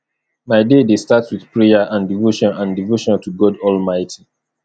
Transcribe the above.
my day dey start with prayer and devotion and devotion to god almighty